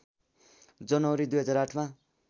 जनवरी २००८ मा